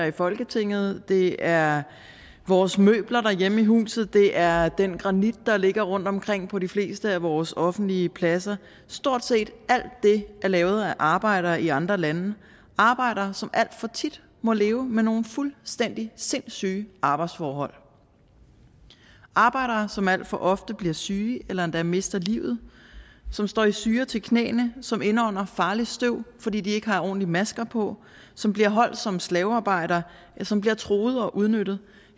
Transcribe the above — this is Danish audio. i folketinget det er vores møbler derhjemme i huset det er den granit der ligger rundtomkring på de fleste af vores offentlige pladser stort set alt det er lavet af arbejdere i andre lande arbejdere som alt for tit må leve med nogle fuldstændig sindssyge arbejdsforhold arbejdere som alt for ofte bliver syge eller endda mister livet som står i syre til knæene som indånder farligt støv fordi de ikke har ordentlige masker på som bliver holdt som slavearbejdere ja som bliver truet og udnyttet